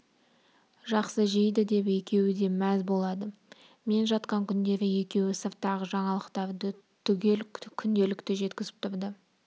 жақсы жейді деп екеуі де мәз болады мен жатқан күндері екеуі сырттағы жаңалықтарды түгел күнделікті жеткізіп тұрды